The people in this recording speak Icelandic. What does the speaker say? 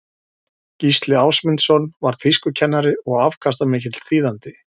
gísli ásmundsson var þýskukennari og afkastamikill þýðandi